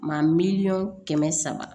Maa mi miliyɔn kɛmɛ saba